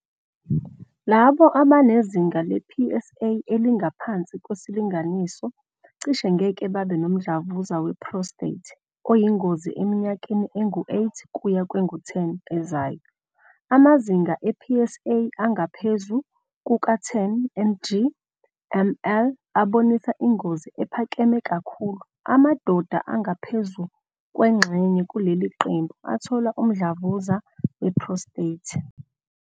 Labo abanezinga le-PSA elingaphansi kwesilinganiso cishe ngeke babe nomdlavuza we-prostate oyingozi eminyakeni engu-8 kuya kwengu-10 ezayo. Amazinga e-PSA angaphezu kuka-10 ng mL abonisa ingozi ephakeme kakhulu, amadoda angaphezu kwengxenye kuleli qembu athola umdlavuza we-prostate.